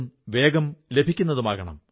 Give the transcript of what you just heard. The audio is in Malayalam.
ഇൻ വെബ്സൈറ്റ് കാണുവാൻ ക്ഷണിക്കുന്നു